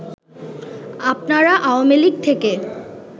আপনারা আওয়ামী লীগ থেকে